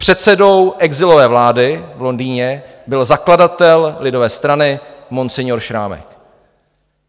Předsedou exilové vlády v Londýně byl zakladatel lidové strany Monsignore Šrámek.